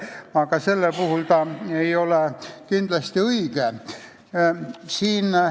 Aga antud juhul ei ole see sõna kindlasti õige.